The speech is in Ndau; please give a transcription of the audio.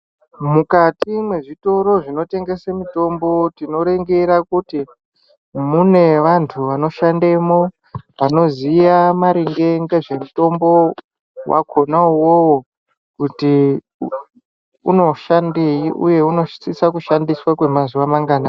Mukati mwezvitoro zvinotengese mitombo tinoringire kuti mune vanthu vanoshandemwo vanoziya maringe ngezve mitombo yakhona iyoyo kuti inoshandei uye inosisa kushandiswa kwemazuwa manganai.